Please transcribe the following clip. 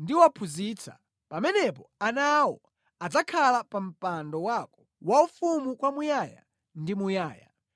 ndiwaphunzitsa, pamenepo ana awo adzakhala pa mpando wako waufumu kwamuyaya ndi muyaya.”